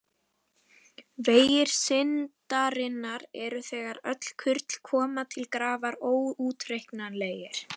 Vegir syndarinnar eru þegar öll kurl koma til grafar óútreiknanlegir.